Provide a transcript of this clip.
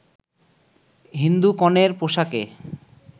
হিন্দু কনের পোশাকে